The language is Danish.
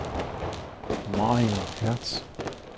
Mariann Hertz